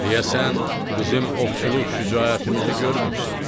“Deyəsən, bizim ovçuluq şücaətimizi görmürsən”.